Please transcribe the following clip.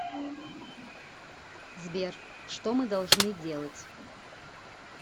сбер что мы должны делать